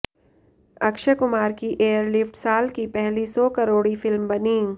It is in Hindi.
अक्षय कुमार की एयरलिफ्ट साल की पहली सौ करोड़ी फिल्म बनी